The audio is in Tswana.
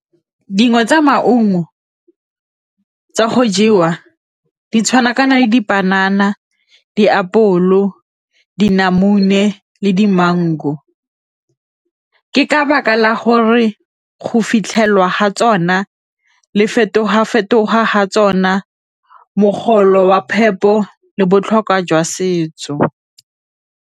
Dingwe tsa maungo go jewa di tshwana kana le dipanana, diapole, dinamune le dimengu ka baka la gore go fitlhelwa ga tsona le fetoga-fetoga ga tsona, mogolo wa phepo le botlhokwa jwa setso.